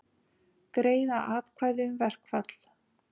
Greiða atkvæði um verkfall